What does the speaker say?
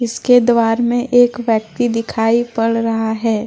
इसके द्वार में एक व्यक्ति दिखाई पड़ रहा है।